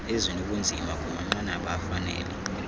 ezinobunzima kumanqanaba afanele